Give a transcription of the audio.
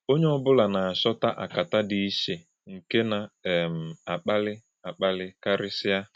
Ònyè̄ ọ́bụ̀là na - àchòtá̄ àkàtá̄ dị ichē̄ nke na um - àkpálí̄ - àkpálí̄ kàrí̄sịa.